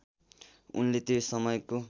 उनले त्यो समयको